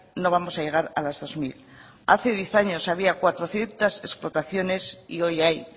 no vamos a llegar a las dos mil hace diez años había cuatrocientos explotaciones y hoy hay